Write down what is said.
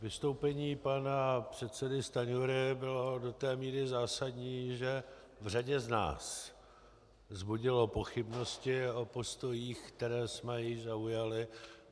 Vystoupení pana předsedy Stanjury bylo do té míry zásadní, že v řadě z nás vzbudilo pochybnosti o postojích, které jsme již zaujali.